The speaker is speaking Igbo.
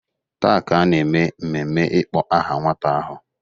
Taa ka a na-eme mmemme ịkpọ aha nwata ahụ.